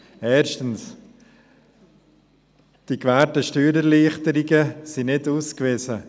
Erstens: Die gewährten Steuererleichterungen sind nicht ausgewiesen.